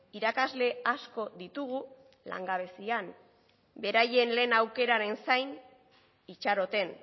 irakasle asko ditugu langabezian beraien lehen aukeraren zain itxaroten